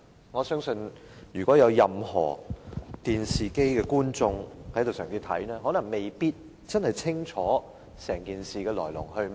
我相信正在收看電視的市民，可能未必真正清楚整件事的來龍去脈。